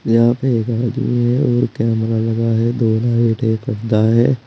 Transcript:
यहाँ पे एक आदमी है और कैमरा लगा है दो लाइट एक गद्दा है।